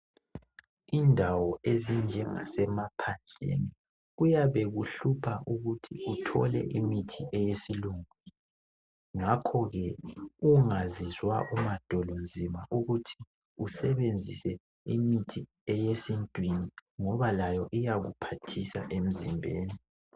Indawo ezinjengasemaphandleni kuyabe kuhlupha ukuthi uthole imithi yesilungu ngakho ke ungazizwa umadolonzima ukuthi usebenzise imithi eyesintwini ngoba layo iyakuphathisa emzimbeni.